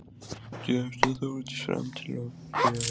Gekk þá Þórdís fram og til Björns.